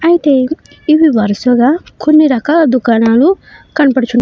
అయితే ఇవి వరసగా కొన్ని రకాల దుకాణాలు కనబడుచున్ --